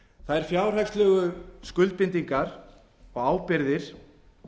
lífskjör þær fjárhagslegu skuldbindingar ábyrgðir